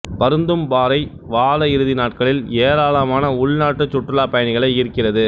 பருந்தும்பாறை வார இறுதி நாட்களில் ஏராளமான உள்நாட்டு சுற்றுலாப் பயணிகளை ஈர்க்கிறது